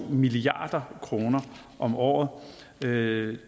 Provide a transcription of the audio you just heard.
milliard kroner om året det